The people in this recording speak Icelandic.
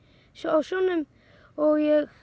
sjónum og ég